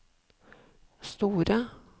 store